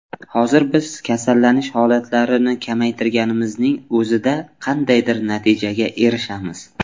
Hozir biz kasallanish holatlarini kamaytirganimizning o‘zida qandaydir natijaga erishamiz.